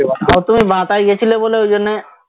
তাও তুমি গেছিলে বলে ঐজন্যে